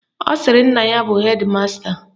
Ọ sịrị na nna ya bụ hedi masta